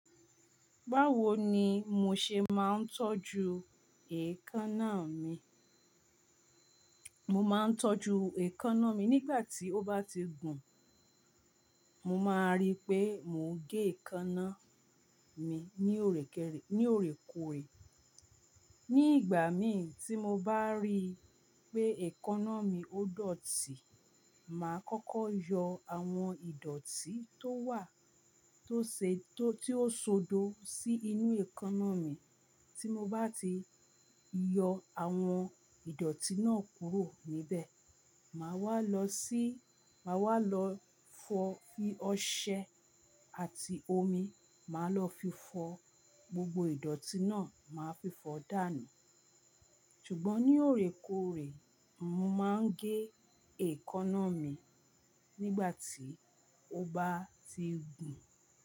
Báwo ni mo ṣe máa ń tọ́jú èékánná mi? Mo máa ń tọ́jú èékánná mi nígbà tí ó bá ti gùn. Mo máa rí pé mò ń gé èékánná mi ní òrèkè-- ní òrèkòrè. Ni ìgbà mi tí mo bá rí pé èékánná mi ó dọ̀tí, màá kọ́kọ́ yọ àwọn ìdọ̀tí tó wà tó ṣe tó tí ó ṣodọ si inú èékánná mi. Tí mo bá ti yọ àwọn ìdọ̀tí náà kúrò níbẹ̀, màá wá lọ sí, màá wá lọ fọ ọṣẹ àti omi, màá lọ fi fọ gbogbo ìdọ̀tí náà, màá fi fọ dànù. Ṣùgbọ́n ní òrèkòrè, mo máa ń gé èékánná mi nígbà tí ó bá ti gùn.